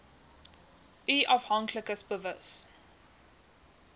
u afhanklikes bewus